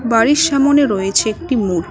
বাড়ির সামোনে রয়েছে একটি মুর--